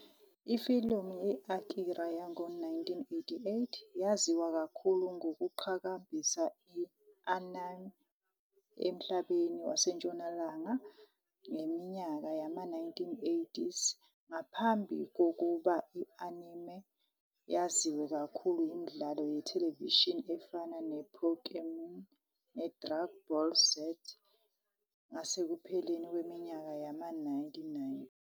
Ifilimu i- "Akira" yango-1988 yaziwa kakhulu ngokuqhakambisa i-anime emhlabeni waseNtshonalanga ngeminyaka yama-1990s, ngaphambi kokuthi i-anime yaziwe kakhulu yimidlalo yethelevishini efana "nePokémon" "neDrag Ball Z" ngasekupheleni kweminyaka yama-1990.